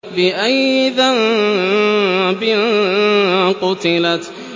بِأَيِّ ذَنبٍ قُتِلَتْ